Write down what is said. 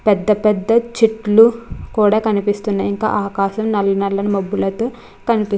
పెద్ద పెద్ద చెట్టులు కూడా కనిపినిస్తున్నాయి. ఇంకా ఆకాశం --